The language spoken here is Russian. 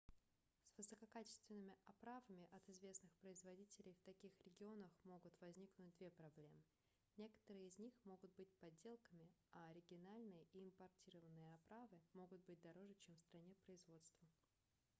с высококачественными оправами от известных производителей в таких регионах могут возникнуть две проблемы некоторые из них могут быть подделками а оригинальные и импортированные оправы могут быть дороже чем в стране производства